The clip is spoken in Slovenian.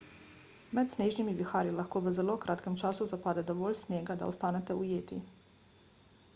med snežnimi viharji lahko v zelo kratkem času zapade dovolj snega da ostanete ujeti